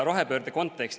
Rohepöörde kontekst.